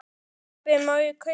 Pabbi, má ég kaupa hund?